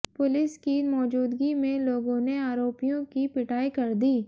police की मौजूदगी में लोगों ने आरोपियों की पिटाई कर दी